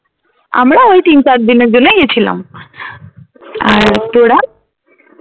আমরা ওই তিন চার দিনের জন্যেই গেছিলাম । আর তোরা?